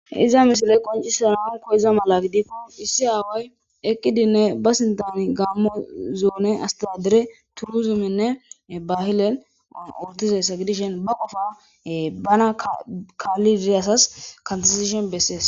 Iza misile qoncise nawunko iza mala gidifo issi aaway eqqidinne ba sintani gammo zoone astadere turuzuminne bahile ortizessa gidishen ba qofa bana kaalidiriyassas kantazishen bessees